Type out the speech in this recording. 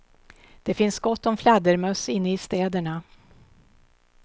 Det finns gott om fladdermöss inne i städerna.